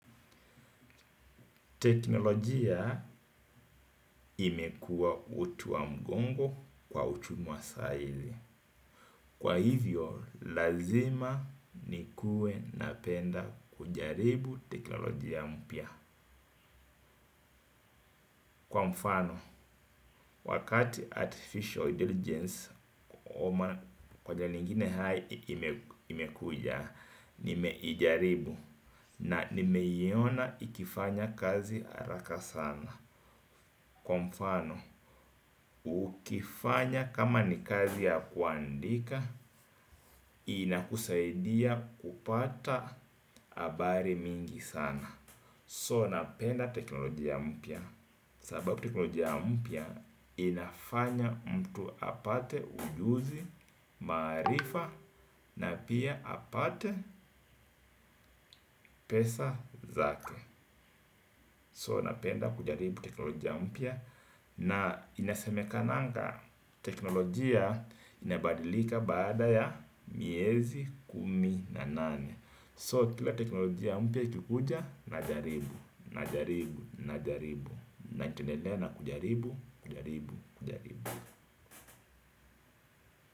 Teknolojia imekuwa uti wa mgongo kwa uchumi wa sahii. Kwa hivyo, lazima niwe napenda kujaribu teknolojia mpya. Kwa mfano, wakati artificial intelligence oma kwa lingine hai imekuja, nimeijaribu na nimeiona ikifanya kazi haraka sana. Kwa mfano, ukifanya kama ni kazi ya kuandika, inakusaidia kupata habari mingi sana So napenda teknolojia mpya. Sababu teknolojia mpya inafanya mtu apate ujuzi, maarifa na pia apate pesa zake So napenda kujaribu teknolojia mpya. Na inasemekananga teknolojia inabadilika baada ya miezi kumi na nane So, kila teknolojia mpya ikikuja najaribu, najaribu, najaribu. Na nitaendelea na kujaribu, kujaribu, kujaribu.